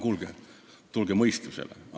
Kuulge, tulge mõistusele!